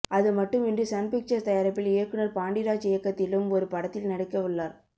அதுமட்டுமின்றி சன்பிக்சர்ஸ் தயாரிப்பில் இயக்குனர் பாண்டிராஜ் இயக்கத்திலும் ஒரு படத்தில் நடிக்கவுள்ளார்